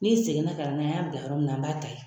N'i seginna ka na n'a ye an y'a bila yɔrɔ min na an b'a ta yen